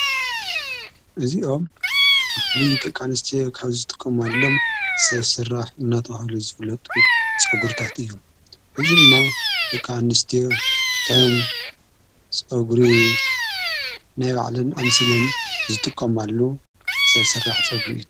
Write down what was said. እዚኦም ብፍሊ ጥቃንስቲ ካብ ዝጥቆም ኣሎም ሠብሠራሕ እናተውሃሉ ዘብለጡ ጸጕርታት እዩ ።እዝ ድማ ድቃንስት ከም ጸጕሪ ናይ ባዕለን ኣምሲለን ዝጥቆምኣሉ ሠብ ሠራሕ ጸጕሪ እየ።